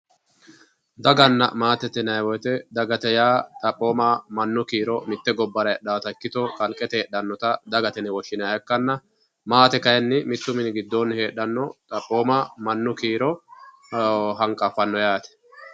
Daganna maatete yinayi woyte dagate yaa xaphooma mannu kiiro mitte gobbara heedhaata ikkito kaqete heedhannota dagate yine woshshinayha ikkanna maate kayinni mittu mini giddoonni heedhaanno xaphooma mannu kiiro hanqaffannol yaate